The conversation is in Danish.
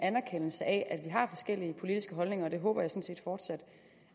anerkendelse af at vi har forskellige politiske holdninger og det håber jeg sådan set fortsat